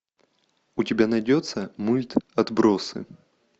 у тебя найдется мульт отбросы